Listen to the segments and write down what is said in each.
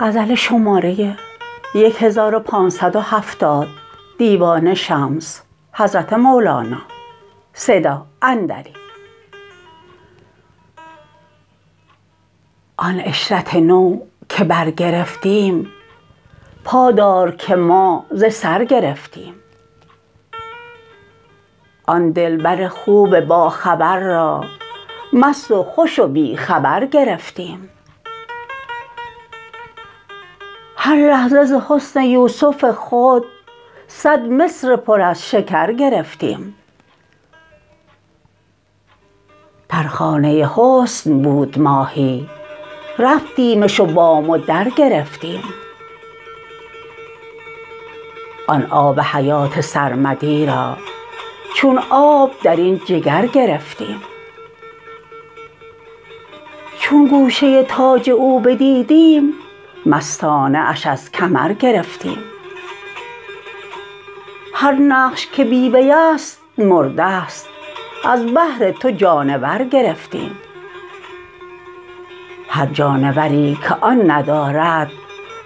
آن عشرت نو که برگرفتیم پا دار که ما ز سر گرفتیم آن دلبر خوب باخبر را مست و خوش و بی خبر گرفتیم هر لحظه ز حسن یوسف خود صد مصر پر از شکر گرفتیم در خانه حسن بود ماهی رفتیمش و بام و در گرفتیم آن آب حیات سرمدی را چون آب در این جگر گرفتیم چون گوشه تاج او بدیدیم مستانه اش از کمر گرفتیم هر نقش که بی وی است مرده ست از بهر تو جانور گرفتیم هر جانوری که آن ندارد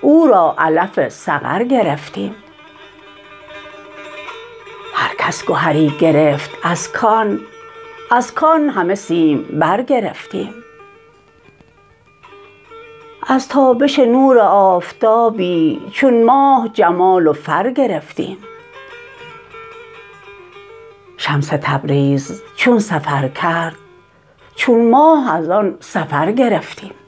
او را علف سقر گرفتیم هر کس گهری گرفت از کان از کان همه سیمبر گرفتیم از تابش نور آفتابی چون ماه جمال و فر گرفتیم شمس تبریز چون سفر کرد چون ماه از آن سفر گرفتیم